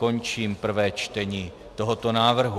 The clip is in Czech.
Končím prvé čtení tohoto návrhu.